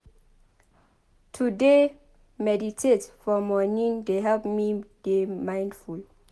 To dey meditate for morning dey help me dey mindful.